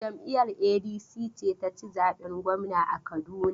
Jam'iyar ADC ce ta ci zaɓen gwamna a Kaduna.